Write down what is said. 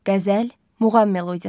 Qəzəl, muğam melodiyası.